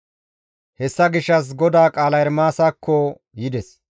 Hessa gishshas GODAA qaalay Ermaasakko yides.